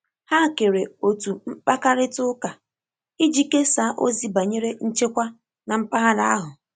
ha kere otu mkpakarita uka iji kesaa ozi banyere nchekwa na mpaghara ahụ